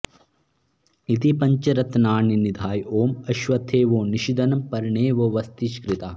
इति पञ्चरत्नानि निधाय ॐ अ॒श्व॒त्थे वो॑ नि॒षद॑नं प॒र्णे वो॑ वस॒तिष्कृ॒ता